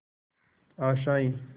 आशाएं